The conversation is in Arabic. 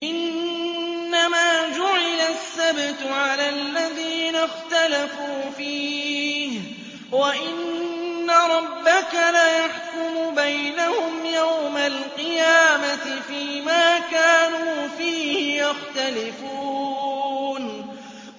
إِنَّمَا جُعِلَ السَّبْتُ عَلَى الَّذِينَ اخْتَلَفُوا فِيهِ ۚ وَإِنَّ رَبَّكَ لَيَحْكُمُ بَيْنَهُمْ يَوْمَ الْقِيَامَةِ فِيمَا كَانُوا فِيهِ يَخْتَلِفُونَ